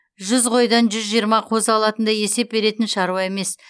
жүз қойдан жүз жиырма қозы алатындай есеп беретін шаруа емес